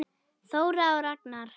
Þóra og Ragnar.